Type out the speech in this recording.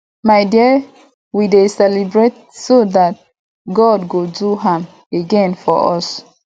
my dear we dey celebrate so dat god go do am again for us